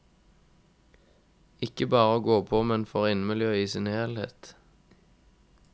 Ikke bare å gå på men for innemiljøet i sin helhet.